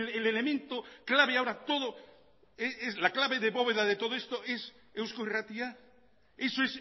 la clave de bóveda de todo esto es eusko irratia eso